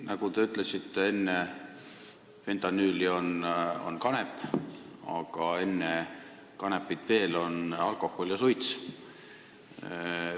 Nagu te ütlesite, enne fentanüüli on kanep, aga enne kanepit on veel alkohol ja suits.